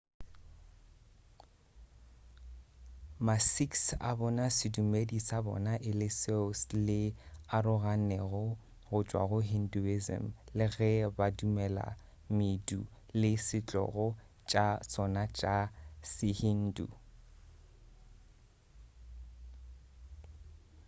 ma-sikhs a bona sedumedi sa bona e le seo le aroganego go tšwa go hinduism le ge ba dumela medu le setlogo tša sona tša se-hindu